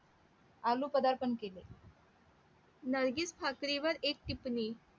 आलू पदार्पण केले नर्गिस ठाकरेवर एक टिपणी